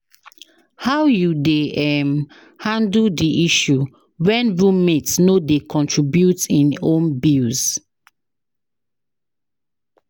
How you dey um handle di issue when roommate no dey contribute im own bills?